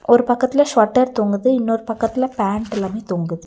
ஒரு பக்கத்துல ஸ்சொட்டர் தொங்குது இன்னொரு பக்கத்துல பேண்ட் எல்லாமே தொங்குது.